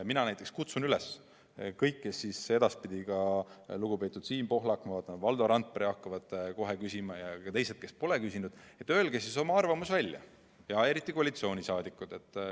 Mina kutsun üles kõiki, kes edaspidi – ka lugupeetud Siim Pohlak, ma vaatan, Valdo Randpere hakkavad kohe küsima ja ka teised, kes pole küsinud –, et öelge oma arvamus välja, eriti koalitsiooniliikmed.